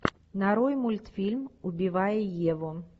нарой мультфильм убивая еву